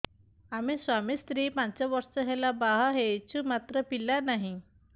ଆମେ ସ୍ୱାମୀ ସ୍ତ୍ରୀ ପାଞ୍ଚ ବର୍ଷ ହେଲା ବାହା ହେଇଛୁ ମାତ୍ର ପିଲା ନାହିଁ